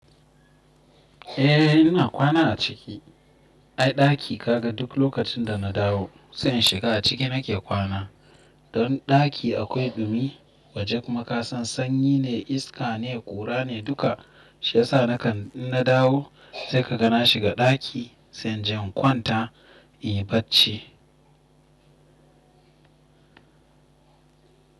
Eh ina kwana a ciki. Ai ɗaki kaga duk lokacin da na dawo, sai in shiga a ciki nake kwana. Don ɗaki akwai ɗumi waje kuma kasan sanyi ne, iska ne, ƙura ne, duka. Shi yasa nakan in na dawo sai ka ga na shiga ɗaki sai inje ƙwan ta, inyi bacci.